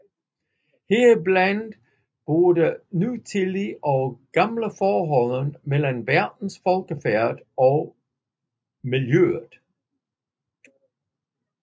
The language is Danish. Heriblandt både nutidige og gamle forhold mellem verdens folkefærd og miljøet